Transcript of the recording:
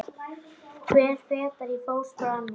Hver fetar í fótspor annars.